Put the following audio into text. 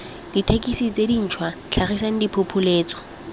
dithekesi tse dintšhwa tlhagisang diphopoletso